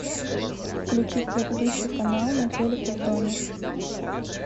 включить предыдущий канал на телике в доме